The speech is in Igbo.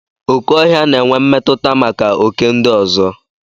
Okè ọhịa na-enwe mmetụta maka oké ndị ọzọ.